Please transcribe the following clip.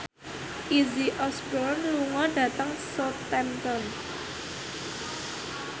Izzy Osborne lunga dhateng Southampton